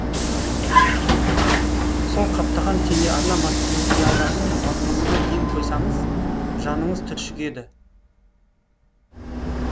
сол қаптаған телеарна мате материалдарының мазмұнына ден қойсаңыз жаныңыз түршігеді